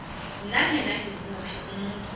nginanyana ngimuphi umuntu